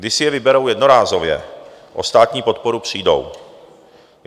Když si je vyberou jednorázově, o státní podporu přijdou.